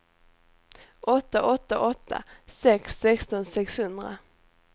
åtta åtta åtta sex sexton sexhundra